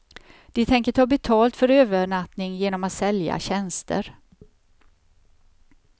De tänker ta betalt för övernattning genom att sälja tjänster.